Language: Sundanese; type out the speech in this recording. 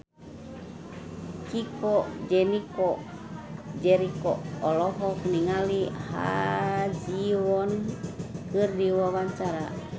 Chico Jericho olohok ningali Ha Ji Won keur diwawancara